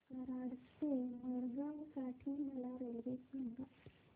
कराड ते मडगाव साठी मला रेल्वे सांगा